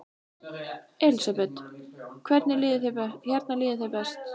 Elísabet: Hérna líður þér best?